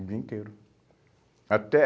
O dia inteiro. Até